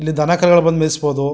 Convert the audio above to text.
ಇಲ್ಲಿ ದನ ಕರುಗಳು ಬಂದು ಮೇಯಿಸಬಹುದು.